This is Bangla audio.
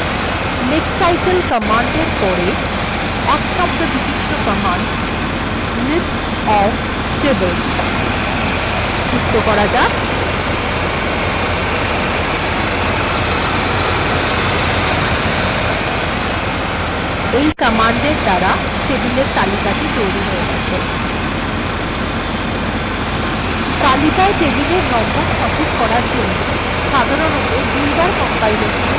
maketitle কমান্ডএর পরে একশব্দবিশিষ্ট কমান্ড list of tables যোগ করা যাক এখন এই কমান্ড এর দ্বারা টেবিলের তালিকা তৈরী হয়ে গেছে তালিকায় টেবিলএর নম্বর সঠিক করার জন্য সাধারনতঃ দুই বার কম্পাইল্ করার প্রয়োজন হয়